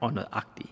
og nøjagtige